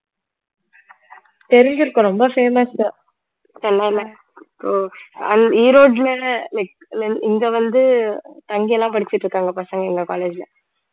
தெரிஞ்சிருக்கும் ரொம்ப famous சென்னையில ஈரோட்டுல like இங்க வந்து தங்கி எல்லாம் படிச்சுட்டு இருக்காங்க பசங்க எங்க college ல